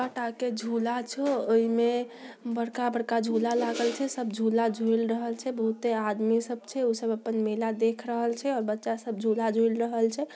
झूला झो उइमें बड़का-बड़का झूला लागल छै सब झूला झूल रहल छै बहुते आदमी सब छै औइ सब अपन मेला देख रहल छै और बच्चा सब झूला झूल रहल छै।